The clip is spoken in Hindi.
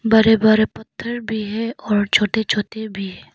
बड़े बड़े पत्थर भी है और छोटे छोटे भी।